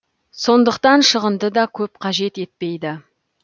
сондықтан шығынды да көп қажет етпейді